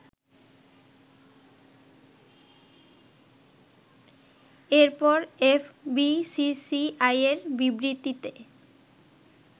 এরপর এফবিসিসিআইয়ের বিবৃতিতে